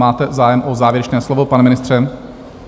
Máte zájem o závěrečné slovo, pane ministře?